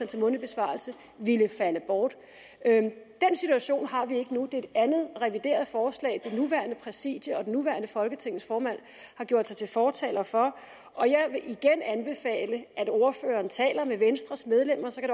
til mundtlig besvarelse ville falde bort den situation har vi ikke nu det er et andet revideret forslag det nuværende præsidium og det nuværende folketings formand har gjort sig til fortaler for og jeg vil igen anbefale at ordføreren taler med venstres medlemmer så kan